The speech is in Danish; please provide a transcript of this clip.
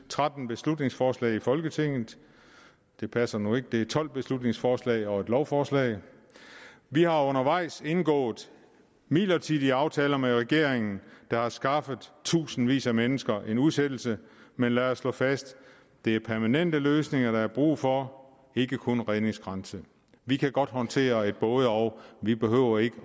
tretten beslutningsforslag i folketinget det passer nu ikke det er tolv beslutningsforslag og lovforslag vi har undervejs indgået midlertidige aftaler med regeringen der har skaffet tusindvis af mennesker en udsættelse men lad os slå fast det er permanente løsninger der er brug for ikke kun redningskranse vi kan godt håndtere et både og vi behøver ikke